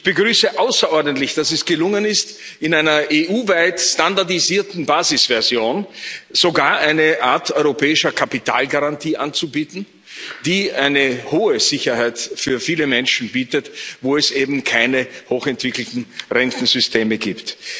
Ich begrüße außerordentlich, dass es gelungen ist, in einer EU weit standardisierten Basisversion sogar eine Art europäischer Kapitalgarantie anzubieten, die eine hohe Sicherheit für viele Menschen bietet, wo es eben keine hochentwickelten Rentensysteme gibt.